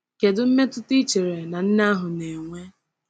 Kedu mmetụta ị chere na nne ahụ na-enwe?